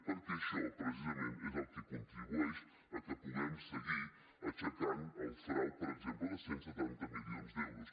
perquè això precisament és el que contribueix a que puguem seguir aixecant el frau per exemple de cent i setanta milions d’euros